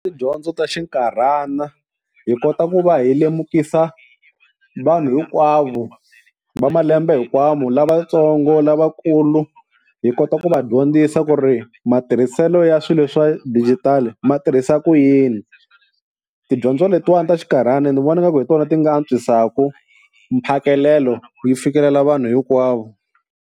Tidyondzo ta xinkarhana, hi kota ku va hi lemukisa vanhu hinkwavo va malembe hinkwavo lavatsongo lavakulu hi kota ku va dyondzisa ku ri matirhiselo ya swilo swa dijitali ma tirhisa ku yini. Tidyondzo letiwani ta xikarhana ni vona nga ku hi tona ti nga antswisaku mphakelo yi fikelela vanhu hinkwavo.